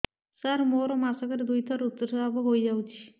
ସାର ମୋର ମାସକରେ ଦୁଇଥର ଋତୁସ୍ରାବ ହୋଇଯାଉଛି